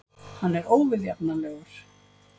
Hann er óviðjafnanlegur.